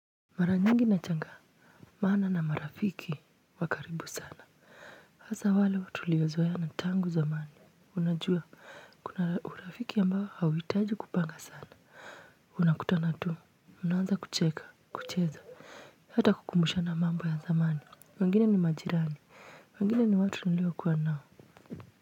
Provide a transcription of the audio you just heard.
Mara nyingi nashangaa maana na marafiki wa karibu sana. Hasa wale tuliozoeana tangu zamani. Unajua kuna urafiki ambao hauhitaji kupanga sana. Mnakutana tu, mnaanza kucheka, kucheza, hata kukumbushana mambo ya zamani. Wengine ni majirani, wengine ni watu niliokuwa nao.